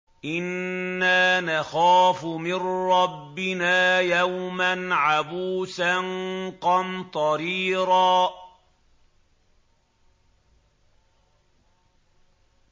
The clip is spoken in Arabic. إِنَّا نَخَافُ مِن رَّبِّنَا يَوْمًا عَبُوسًا قَمْطَرِيرًا